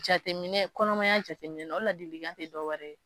Jateminɛ kɔnɔmaya jateminɛ o tɛ dɔwɛrɛ